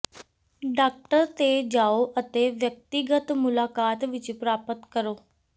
doctor ਤੇ ਜਾਓ ਅਤੇ ਵਿਅਕਤੀਗਤ ਮੁਲਾਕਾਤ ਵਿੱਚ ਪ੍ਰਾਪਤ ਕਰੋ